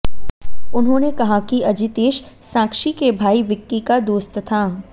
उन्होंने कहा कि अजितेश साक्षी के भाई विक्की का दोस्त था